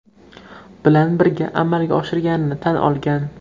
Bilan birga amalga oshirganini tan olgan.